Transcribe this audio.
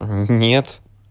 э нет